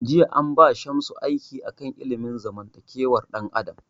Jiya an ba Shamsu aiki a kan ilimin zamantakewar dan adam